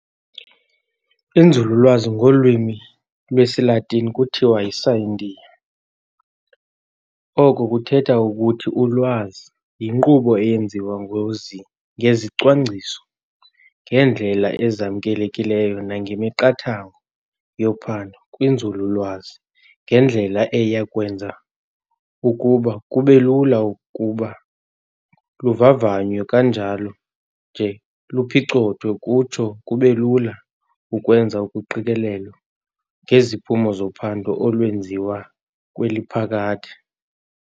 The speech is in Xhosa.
Inzululwazi, Ngolwimi lwesiLatini kuthiwa yi"scientia", oko kuthetha ukuthi "Ulwazi", yinkqubo eyenziwa ngezicwangciso, ngeendlela ezamkelekileyo nangemiqathango yophando kwinzululwazi ngendlela eya kwenza ukuba kubelula ukuba luvavanywe kunjalo nje luphicothwe, kutsho kubelula ukwenza uqikelelo ngeziphumo zophando olwenziwa kweli phakade.